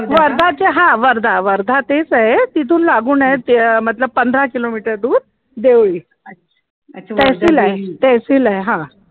वर्धाच्या हा वर्धा वर्धा तेच आहे तिथून लागून आहे ते पंधरा किलोमीटर दूर देवळी तहसील आहे तहसील आहे हा